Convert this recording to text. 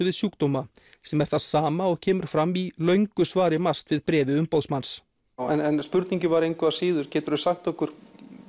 við sjúkdóma sem er það sama og kemur fram í löngu svari MAST við bréfi umboðsmanns en spurningin var engu að síður geturðu sagt okkur